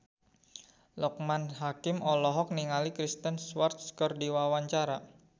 Loekman Hakim olohok ningali Kristen Stewart keur diwawancara